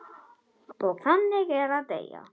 Og þannig er að deyja.